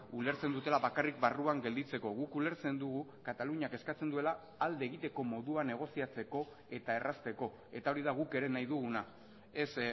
ulertzen dutela bakarrik barruan gelditzeko guk ulertzen dugu kataluniak eskatzen duela alde egiteko modua negoziatzeko eta errazteko eta hori da guk ere nahi duguna ez